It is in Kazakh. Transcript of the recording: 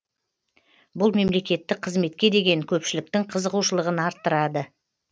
бұл мемлекеттік қызметке деген көпшіліктің қызығушылығын арттырды